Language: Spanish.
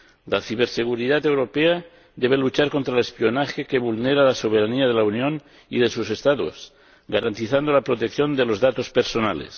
La ciberseguridad europea debe luchar contra el espionaje, que vulnera la soberanía de la Unión y de sus Estados, garantizando la protección de los datos personales.